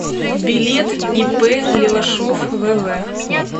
билет ип левашов вв